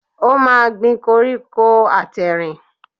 O máa gbin koríko àtẹ̀rìn.